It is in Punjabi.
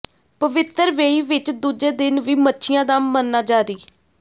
ਪਵਿੱਤਰ ਵੇਈਂ ਵਿੱਚ ਦੂਜੇ ਦਿਨ ਵੀ ਮੱਛੀਆਂ ਦਾ ਮਰਨਾ ਜਾਰੀ